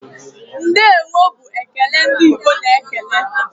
"Ndeewo" bụ ekele ndị Igbo na-ekele.